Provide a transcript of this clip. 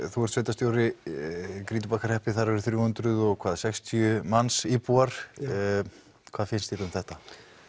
þú ert sveitarstjóri í Grýtubakkarhreppi þar eru þrjú hundruð og sextíu manns íbúar hvað finnst þér um þetta